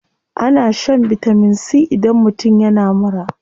Ana shan vitamin c idan mutum yana mura.